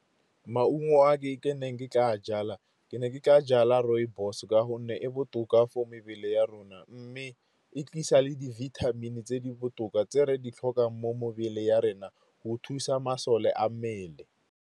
Maungo a ke neng ke tla jala, ke ne ke tla jala rooibos ka gonne e botoka for mebele ya rona. Mme e tlisa le di-vitamin-e tse di botoka tse re di tlhokang mo mebele ya rena go thusa masole a mmele.